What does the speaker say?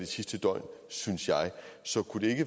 sidste døgn synes jeg så